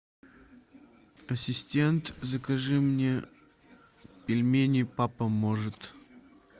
ассистент закажи мне пельмени папа может